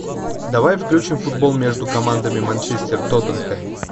давай включим футбол между командами манчестер тоттенхэм